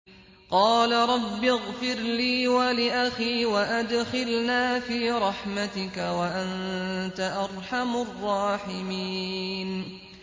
قَالَ رَبِّ اغْفِرْ لِي وَلِأَخِي وَأَدْخِلْنَا فِي رَحْمَتِكَ ۖ وَأَنتَ أَرْحَمُ الرَّاحِمِينَ